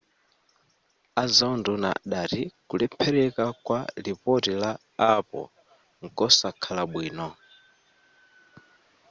azaunduna adati kulephereka kwa lipoti la apple nkosakhala bwino